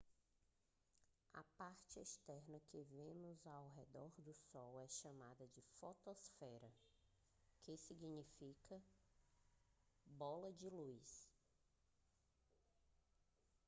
a parte externa que nós vemos ao olhar para o sol é chamada de fotosfera que significa bola de luz